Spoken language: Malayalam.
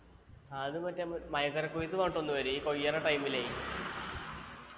അത് മറ്റേ കൊയ്ത്ത് പറഞ്ഞിട്ടൊന്ന് വരി ഈ കൊയ്യണ time ലേ